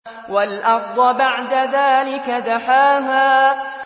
وَالْأَرْضَ بَعْدَ ذَٰلِكَ دَحَاهَا